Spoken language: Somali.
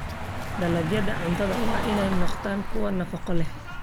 Dalagyada cuntadu waa inay noqdaan kuwo nafaqo leh.